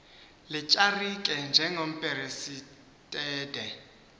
letyalike njengomperesite de